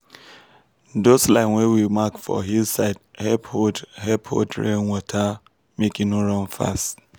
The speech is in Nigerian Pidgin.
those lines wey we mark for hill side help hold help hold rain water make e no run fast.